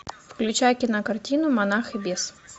включай кинокартину монах и бес